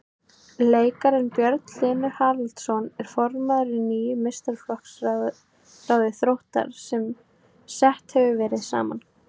Leikarinn Björn Hlynur Haraldsson er formaður í nýju meistaraflokksráði Þróttar sem sett hefur verið saman.